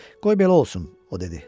Qoy belə olsun, o dedi.